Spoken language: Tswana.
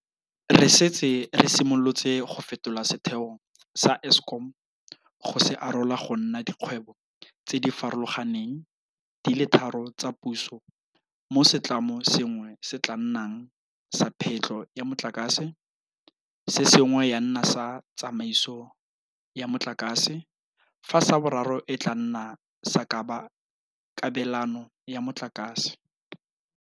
Re setse re simolotse go fetola setheo sa Eskom go se arola go nna dikgwebo tse di farologaneng di le tharo tsa puso mo setlamo sengwe se tla nnang sa phetlho ya motlakase, se sengwe ya nna sa tsamaiso ya motlakase fa sa boraro e tla nna sa kabelano ya motlakase.